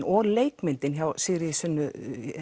og leikmyndin hjá Sigríði Sunnu